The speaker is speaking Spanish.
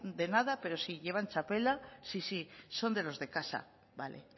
de nada pero sí llevan txapela sí sí son de los de casa vale